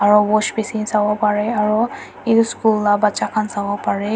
aru wash bhishi sabo pare aru school laga becha khan sabo pare.